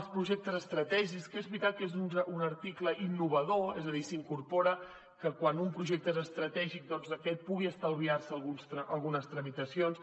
els projectes estratègics que és veritat que és un article innovador és a dir s’incorpora que quan un projecte és estratègic aquest pugui estalviar se algunes tramitacions